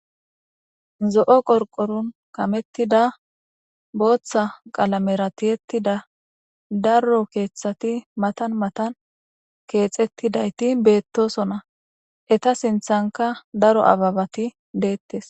Zo'o qorqoron kamettida booththa qalamera tiyetida darro keeththati matan matan keexettidayti beettosona eta sinthanka daro ababati deettes.